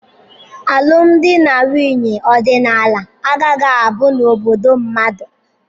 Alụmdi na nwunye ọdịnala agaghị abu n'obodo mmadụ.